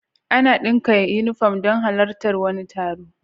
Ana daka inufom don halar tar wani taro